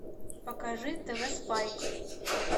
покажи тв спайк